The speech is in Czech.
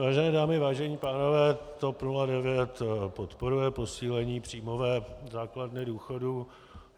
Vážené dámy, vážení pánové, TOP 09 podporuje posílení příjmové základny důchodu.